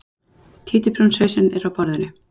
Títuprjónshausinn er á borðinu.